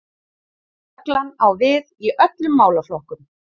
Reglan á við í öllum málaflokkum